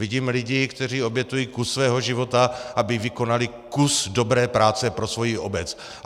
Vidím lidi, kteří obětují kus svého života, aby vykonali kus dobré práce pro svoji obec.